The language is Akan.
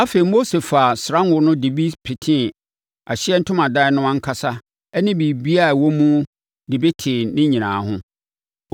Afei, Mose faa ɔsra ngo no de bi petee Ahyiaeɛ Ntomadan no ankasa ne biribiara a ɛwɔ mu ho de tee ne nyinaa ho.